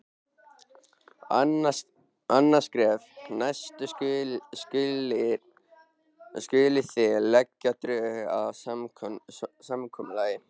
Annað skref: Næst skulið þið leggja drög að samkomulagi.